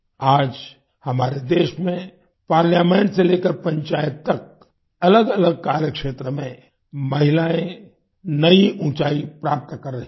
आज हमारे देश में पार्लामेंट से लेकर पंचायत तक अलगअलग कार्यक्षेत्र में महिलायें नई ऊँचाई प्राप्त कर रही हैं